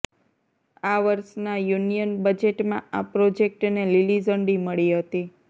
આ વર્ષના યુનિયન બજેટમાં આ પ્રોજેક્ટને લીલી ઝંડી મળી હતી